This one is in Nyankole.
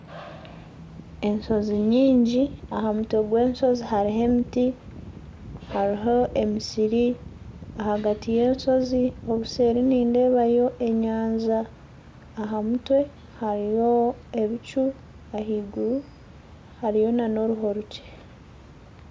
Enshozi nyingi aha mutwe gw'enshozi hariho emiti hariho emisiri ahagati y'enshozi obuseeri nindeebayo enyanja aha mutwe hariyo ebicu ahaiguru hariyo nana oruho rukye